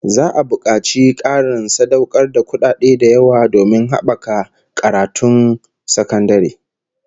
Za'a bukaci Karin sadaukar da kudaden da yawa domin habaka karatun sakandare